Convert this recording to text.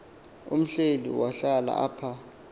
uhleli wahlala apha